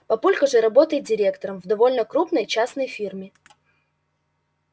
папулька же работает директором в довольно крупной частной фирме